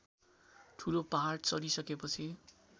ठूलो पहाड चढिसकेपछि